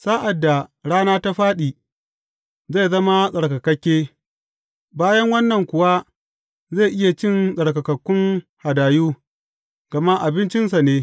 Sa’ad da rana ta fāɗi, zai zama tsarkakakke, bayan wannan kuwa zai iya cin tsarkakakkun hadayu, gama abincinsa ne.